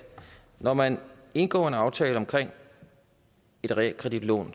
når man indgår en aftale omkring et realkreditlån